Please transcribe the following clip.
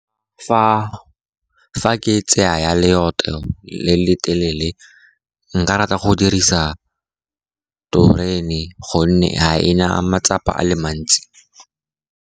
Fa ke tsaya ya leeto le le telele nka rata go dirisa terene, gonne ha e na matsapa a le mantsi.